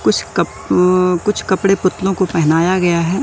कुछ कप उ कुछ कपड़े पुतलों को पहनाया गया है।